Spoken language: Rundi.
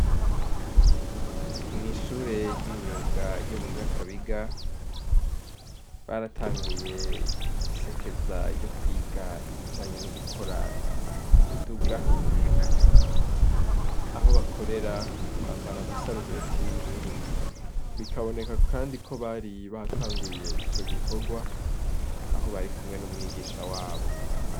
Mw'ishure ry'imyuga ryo mu Nyakabiga baratanguye isekeza ryo kwiga ibijanye n'ugukora imiduga, aho bakorera bambara amasarubeti y'ubururu bikaboneka, kandi ko bari batanguye ico gikorwa aho bari kumwe n'umwigisha wabo.